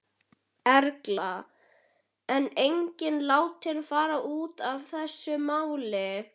Erla: En enginn látinn fara út af þessu máli?